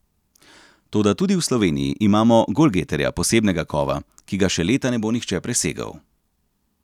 Toda tudi v Sloveniji imamo golgeterja posebnega kova, ki ga še leta ne bo nihče presegel.